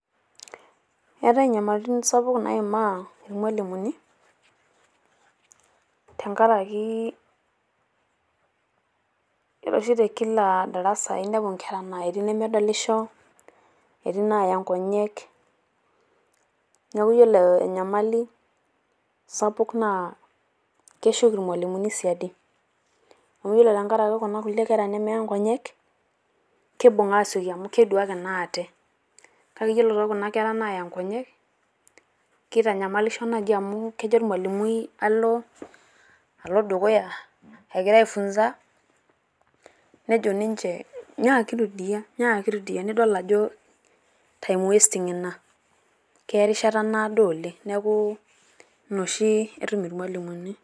Eetae enyamalitin sapuk naimaa irmalimuni, tengaraki Yiolo oshi te kila darasa enepu enkera naa etii enemesololisho, etii naaya ng'onyek neeku ore enyamali sapuk naa keshuk irmalimuni siadi. Amu ore Tengaraki Kuna kulie Kera nemeya ng'onyek keibung' aasioki amu keeduaki naa ate kake Kuna kulie Kera naaya ng'onyek, keitanyamalisho naaji amu kejo ormalimui alo, alo dukuya egira aifunsa nejo ninche " nyiaki rudia, nyiaki rudia " nidol ajo time wasting Ina keya erishata naado oleng' neeku Ina oshi etum irmalimuni.